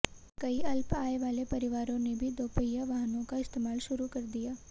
कई अल्प आय वाले परिवारों ने भी दोपहिया वाहनों का इस्तेमाल शुरू कर दिया